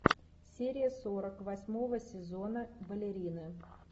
серия сорок восьмого сезона балерины